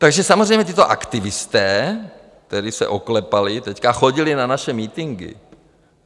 Takže samozřejmě tito aktivisté, kteří se oklepali, teď chodili na naše mítinky.